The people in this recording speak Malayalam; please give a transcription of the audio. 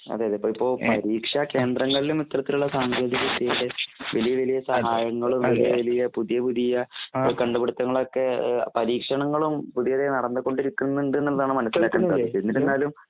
അതേയതെ.ഇപ്പഇപ്പൊ പരീക്ഷാകേന്ദ്രങ്ങളിലും ഇത്തരത്തിലുള്ളസാങ്കേതികവിദ്യയുടെ വലിയവലിയ സമായങ്ങളും വലിയവലിയ പുതിയപുതിയ ഇപ്പകണ്ടുപിടുത്തങ്ങളൊക്കെ ഏഹ് പരീക്ഷണങ്ങളും പുതിയപുതിയ നറന്ന്കൊണ്ടിരിക്കുന്നുണ്ട്ന്നുള്ളാണ് മനസ്സിലാക്കാൻ സാധിക്കുക. എന്നിട്ടെന്നാലും